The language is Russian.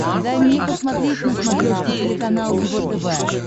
дай мне посмотреть на смотрешке телеканал его тв